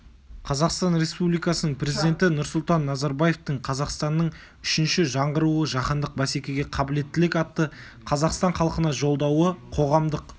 қазақстан республикасының президенті нұрсұлтан назарбаевтың қазақстанның үшінші жаңғыруы жаһандық бәсекеге қабілеттілік атты қазақстан халқына жолдауы қоғамдық